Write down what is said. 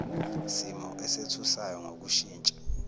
simo esethusayo ngokushintsha